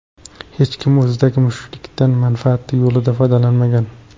Hech kim o‘zidagi mushkullikdan manfaati yo‘lida foydalanmagan.